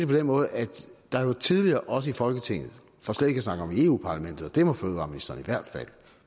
på den måde at der jo tidligere også i folketinget for slet ikke at snakke om eu parlamentet det må fødevareministeren i hvert fald